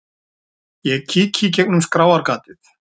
Ég kíki í gegnum skráargatið.